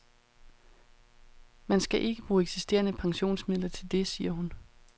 Man skal ikke bruge eksisterende pensionsmidler til det, siger hun.